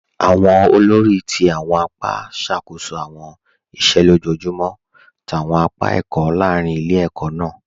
Awọn òlórí ti awọn àpá ṣakoso awọn ìṣẹ̀ lọ́jọjumọ̀ t'awọn àpá ẹkọ̀ lárìn ilẹ̀-ẹ̀kọ̀ náà.